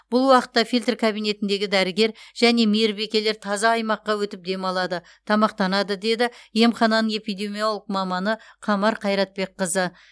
бұл уақытта фильтр кабинетіндегі дәрігер және мейірбикелер таза аймаққа өтіп демалады тамақтанады деді емхананың эпидемиолог маманы қамар қайратбекқызы